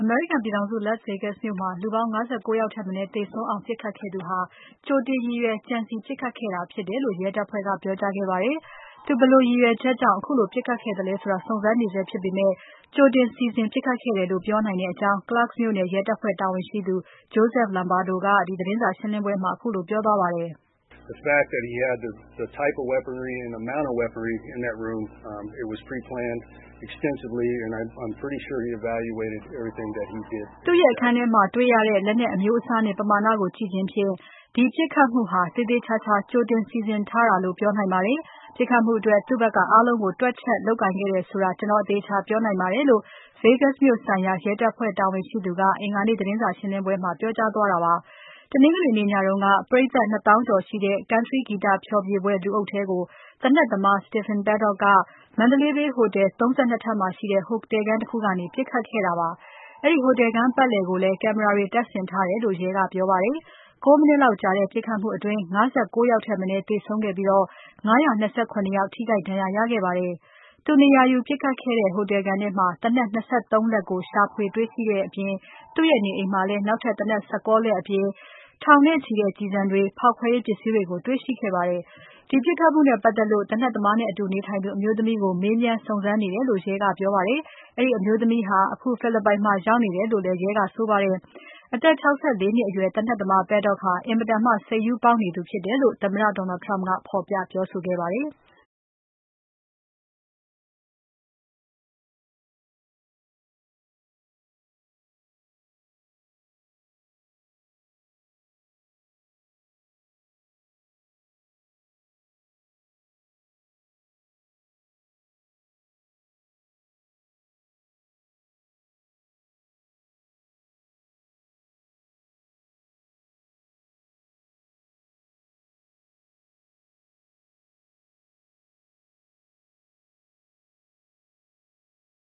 မေရိကန်ပြည်ထောင်စု Las Vegas မြို့မှာ လူပေါင်း ၅၉ ယောက်ထက်မနည်း သေဆုံးအောင် ပြစ်ခတ်ခဲ့သူဟာ ကြိုတင်ရည်ရွယ် ကြံစည် ပြစ်ခတ်ခဲ့တာ ဖြစ်တယ်လို့ ရဲတပ်ဖွဲ့က ပြောကြားခဲ့ပါတယ်။ သူဘယ်လိုရည်ရွယ်ချက်ကြောင့် ခုလို ပြစ်ခတ်ခဲ့သလဲ ဆိုတာကို စုံစမ်းနေဆဲဖြစ်ပေမဲ့ ကြိုတင်စီစဉ် ပြစ်ခတ်ခဲ့တယ်လို့ ပြောနိုင်ကြောင်း Clark မြို့နယ်ရဲတပ်ဖွဲ့ တာဝန်ရှိသူ Joseph Lombardo ကသတင်းစာရှင်းပွဲမှာ ပြောကြားသွားခဲ့ပါတယ်။ “သူ့ရဲ့အခန်းထဲမှာတေ့ွရတဲ့ လက်နက်အမျိုးအစားနဲ့ ပမာဏကို ကြည့်ခြင်းဖြင့် ဒီပြစ်ခတ်မှုဟာ သေသေချာချာ ကြိုတင်စီစဉ်ထားတာလို့ ပြောနိုင်ပါတယ်။ ပြစ်ခတ်မှုအတွက် သူ့ဖက်က အားလုံးကို တွက်ချက် လုပ်ကိုင်ခဲ့တယ်ဆိုတာ ကျွန်တော် အသေအချာ ပြောနိုင်ပါတယ်လို့” Vegas မြို့ဆိုင်ရာ ရဲတပ်ဖွဲ့တာဝန်ရှိသူက အင်္ဂါနေ့ သတင်းစာရှင်းပွဲမှာ ပြောကြားသွားတာ ဖြစ်ပါတယ်။ တနင်္ဂနွေနေ့ညတုန်းက ပရိတ်သတ် ၂၀,၀၀၀ ကျော်တဲ့ Country (ကျေးလက်) ဂီတဖျော်ဖြေပွဲက လူအုပ်ထဲကို သေနတ်သမား Stephen Paddock က Mandalay Bay ဟိုတယ် ၃၂ ထပ်မှာရှိတဲ့ ဟိုတယ်ခန်း တခုကနေ ပြစ်ခတ်ခဲ့တာပါ။ အဲဒီဟိုတယ်ခန်းပါတ်လည်ကိုလည်း ကင်မရာတွေ တပ်ဆင်ထားတယ်လို့ ရဲက ပြောပါတယ်။ ၉ မိနစ်လောက်ကြာတဲ့ ပြစ်ခတ်မှုအတွင်း ၅၉ ယောက် ထက်မနည်း သေဆုံးခဲ့ပြီး ၅၂၇ ယောက်ထိခိုက်ဒဏ်ရာရခဲ့ပါတယ်။ သူနေရာယူပြစ်ခတ်ခဲ့တဲ့ ဟိုတယ်ခန်းထဲမှာ သေနတ် ၂၃ လက်ကို ရှာဖွေ တေ့ွရှိခဲ့တဲ့ အပြင် သူ့နေအိမ်မှာလည်း နောက်ထပ် သေနတ် ၁၉ လက်အပြင် ထောင်နဲ့ချီတဲ့ ကျည်ဆံတွေ။ ဖေါက်ခွဲရေးပစ္စည်းတွေကို တေ့ွရှိခဲ့ပါတယ်။ ဒီပြစ်ခတ်မှုနဲ့ပါတ်သက်လို့ သေနတ်သမားနဲ့အတူ နေထိုင်သူ အမျိုးသမီးကို မေးမြန်း စုံစမ်းနေတယ်လို့ ရဲကပြောပါတယ်။ အဲဒီအမျိုးသမီးဟာ ဖိလစ်ပိုင်နိုင်ငံမှာ ရောက်နေတယ်လို့ ရဲကပြောပါတယ်။ အသက် ၆၄ နှစ်အရွယ် သေနတ်သမား Paddock ဟာ အင်မတန် စိတ်ရူးပေါက်နေသူ ဖြစ်တယ်လို့ သမ္မတ Trump က ဖော်ပြ ပြောဆိုခဲ့ပါတယ်။